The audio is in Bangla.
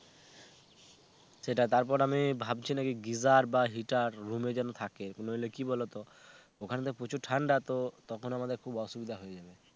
সেটাই তারপর আমি ভাবছি নাকি Geyser বা heaterRoom এ যেন থাকে নইলে কি বলতো ওখানে তো প্রচুর ঠান্ডা তো তখন আমাদের খুব অসুবিধা হয়ে যাবে